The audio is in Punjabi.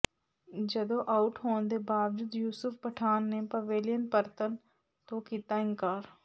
ਜਦੋਂ ਆਊਟ ਹੋਣ ਦੇ ਬਾਵਜੂਦ ਯੂਸੁਫ ਪਠਾਨ ਨੇ ਪਵੇਲੀਅਨ ਪਰਤਨ ਤੋਂ ਕੀਤਾ ਇਨਕਾਰ